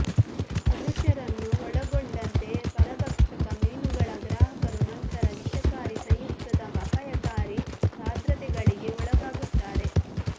ಮನುಷ್ಯರನ್ನೂ ಒಳಗೊಂಡಂತೆ ಪರಭಕ್ಷಕ ಮೀನುಗಳ ಗ್ರಾಹಕರು ನಂತರ ವಿಷಕಾರಿ ಸಂಯುಕ್ತದ ಅಪಾಯಕಾರಿ ಸಾಂದ್ರತೆಗಳಿಗೆ ಒಳಗಾಗುತ್ತಾರೆ